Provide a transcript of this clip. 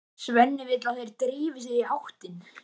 Svenni vill að þeir drífi sig í háttinn.